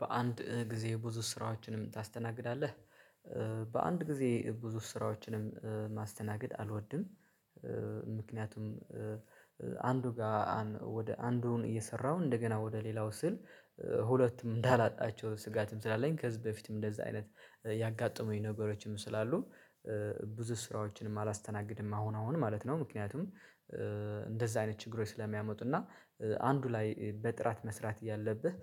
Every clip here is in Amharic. በአንድ ጊዜ ብዙ ስራዎችንም ታስተናግዳለህ? በአንድ ጊዜ ብዙ ስራዎችንም ማስተናገድ አልወድም ምክንያቱም አንዱ ጋር ወደ አንዱን እየሰራው እንደገና ወደ ሌላው ስል ሁለቱም እንዳላጣቸው ስጋትም ስላለኝ ከህዝብ በፊትም እንደዛ አይነት ያጋጠሙኝ ነገሮችም ስላሉ ብዙ ስራዎችንም አላስተናግድም አሁን አሁን ማለት ነው ምክንያቱም እንደዛ አይነት ችግሮች ስለሚያመጡና አንዱ ላይ በጥራት መስራት እያለብህ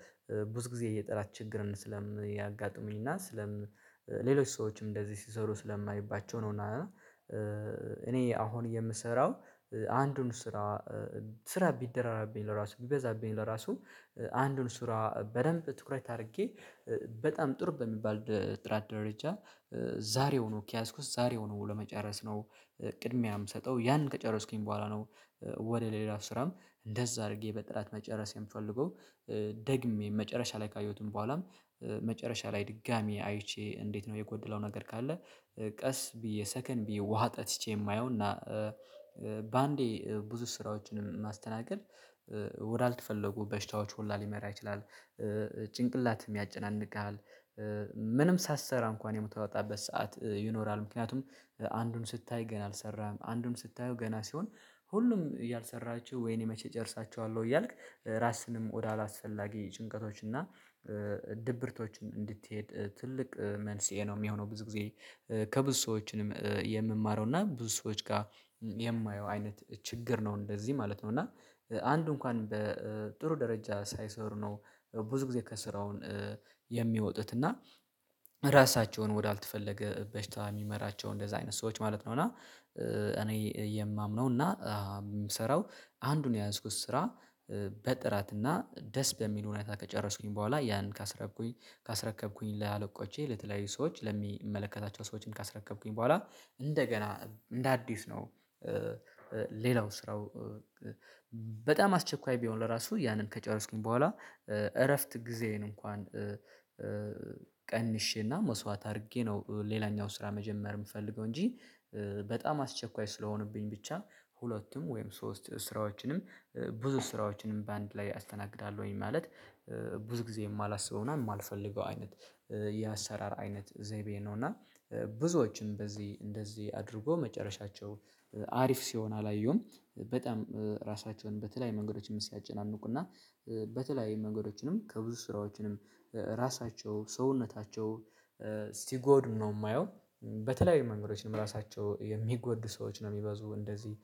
ብዙ ጊዜ የጥራት ችግርን ስለምያጋጥሙኝ እና ሌሎች ሰዎችም እንደዚህ ሲሰሩ ስለማይባቸው ነው እና እኔ አሁን የምሰራው አንዱን ስራ ስራ ቢደራራብኝ ለራሱ ቢበዛብኝ ለራሱ አንዱን ስራ በደንብ ትኩረት አድርጌ በጣም ጥሩ በሚባል ጥራት ደረጃ ዛሬውኑ ኪያስኩስ ዛሬውኑ ለመጨረስ ነው ቅድሚያም ሰጠው ያንን ከጨረስኩኝ በኋላ ነው ወደ ሌላ ስራም እንደዛ አድርጌ በጥራት መጨረስ የምፈልገው ደግሜ መጨረሻ ላይ ካየሁትም በኋላም መጨረሻ ላይ ድጋሚ አይቼ እንዴት ነው የጎደለው ነገር ካለ ቀስ ብዬ ሰከን ብዬ ውሃ ጠጥቼ የማየው እና በአንዴ ብዙ ስራዎችንም ማስተናገድ ወዳልተፈለጉ በሽታዎች ሁላ ሊመራ ይችላል ጭንቅላትም ያጨናንቅሃል ምንም ሳትሰራ እንኳን የምትወጣበት ሰዓት ይኖራል ምክንያቱም አንዱን ስታይ ገና አልሰራም አንዱን ስታየው ገና ሲሆን ሁሉም እያልሰራችሁ ወይኔ መቼ እጨርሳችኋለሁ እያልክ ራስንም ወደ አላስፈላጊ ጭንቀቶች እና ድብርቶችን እንድትሄድ ትልቅ መልስ የሚሆነው ብዙ ጊዜ ከብዙ ሰዎችንም የምማረው እና ብዙ ሰዎች ጋር የማየው አይነት ችግር ነው እንደዚህ ማለት ነው እና አንዱ እንኳን በጥሩ ደረጃ ሳይሰሩ ነው ብዙ ጊዜ ከስራውን የሚወጡት እና ራሳቸውን ወዳልተፈለገ በሽታ የሚመራቸው እንደዛ አይነት ሰዎች ማለት ነው እና እኔ የማምነው እና የምሰራው አንዱን የያዝኩት ስራ በጥራት እና ደስ በሚሉ ሁኔታ ከጨረሱኝ በኋላ ያንን ካስረከብኩኝ ለአለቆቼ ለተለያዩ ሰዎች ለሚመለከታቸው ሰዎችን ካስረከብኩኝ በኋላ እንደገና እንደ አዲስ ነው ሌላው ስራው በጣም አስቸኳይ ቢሆን ለራሱ ያንን ከጨረስኩኝ በኋላ እረፍት ጊዜዬን እንኳን ቀንሼና መስዋዕት አድርጌ ነው ሌላኛው ስራ መጀመር የምፈልገው እንጂ በጣም አስቸኳይ ስለሆነብኝ ብቻ ሁለቱም ወይም ሶስት ስራዎችንም ብዙ ስራዎችንም በአንድ ላይ አስተናግዳለሁኝ ማለት ብዙ ጊዜ የማላስበውና የማልፈልገው አይነት የአሰራር አይነት ዘይቤ ነው እና ብዙዎችም በዚህ እንደዚህ አድርጎ መጨረሻቸው አሪፍ ሲሆን አላየሁም። በጣም ራሳቸውን በተለያይ መንገዶችን ሲያጨናንቁና በተለይ መንገዶችንም ከብዙ ስራዎችንም ራሳቸው ሰውነታቸው ሲጎዱ ነው የማየው በተለይ መንገዶችንም ራሳቸው የሚጎድ ሰዎች ነው የሚበዙ እንደዚህ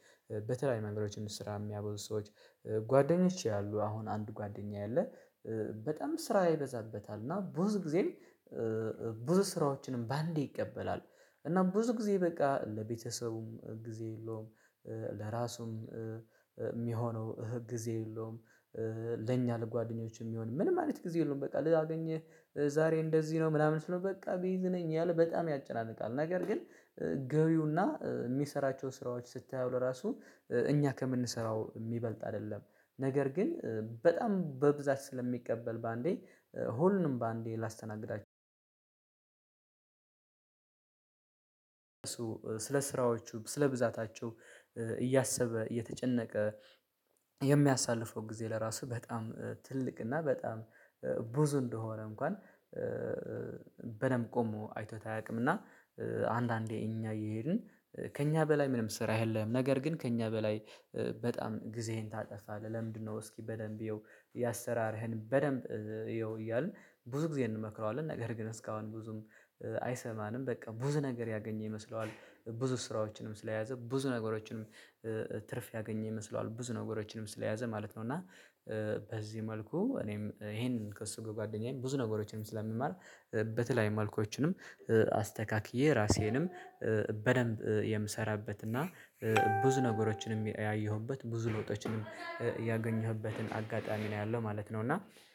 በተለይ መንገዶችን ስራ የሚያበዙ ሰዎች ጓደኞች ያሉ አሁን አንድ ጓደኛዬ አለ በጣም ስራ ይበዛበታል እና ብዙ ጊዜ ብዙ ስራዎችንም በአንዴ ይቀበላል እና ብዙ ጊዜ በቃ ለቤተሰቡም ጊዜ የለውም ለራሱም የሚሆነው ጊዜ የለውም ለኛ ለጓደኞች የሚሆን ምን ማለት ጊዜ የለውም በቃ ላገኝህ ዛሬ እንደዚህ ነው ምናምን ስለው በቃ ቢዝይ ነኝ ያለ በጣም ያጨናንቃል ነገር ግን ገቢውና የሚሰራቸው ስራዎች ስታዩ ለራሱ እኛ ከምንሰራው የሚበልጥ አይደለም ነገር ግን በጣም በብዛት ስለሚቀበል በአንዴ ሁሉንም በአንዴ ላስተናግዳ ስለ ስራዎቹ ስለ ብዛታቸው እያሰበ እየተጨነቀ የሚያሳልፈው ጊዜ ለራስህ በጣም ትልቅ እና በጣም ብዙ እንደሆነ እንኳን በደንብ ቆሞ አይቶት አያውቅም አያውቅምና አንዳንዴ እኛ እየሄድን ከእኛ በላይ ምንም ስራ የለህም ነገር ግን ከእኛ በላይ በጣም ጊዜህን ታጠፋለህ ለምንድነው እስኪ በደንብ እየው የአሰራርህን በደንብ እየው እያልን ብዙ ጊዜ እንመክረዋለን ነገር ግን እስካሁን ብዙም አይሰማንም በቃ ብዙ ነገር ያገኘ ይመስለዋል ብዙ ስራዎችንም ስለያዘ ብዙ ነገሮችንም ትርፍ ያገኘ ይመስለዋል ብዙ ነገሮችንም ስለያዘ ማለት ነው እና በዚህ መልኩ እኔም ይሄንን ከእሱ ጋር ከጓደኛዬ ብዙ ነገሮችንም ስለምማር በተለይ መልኮችንም አስተካክዬ ራሴንም በደንብ የምሰራበትና ብዙ ነገሮችንም ያየሁበት፣ ብዙ ለውጦችንም ያገኘሁበትን አጋጣሚ ነው ያለው ማለት ነው እና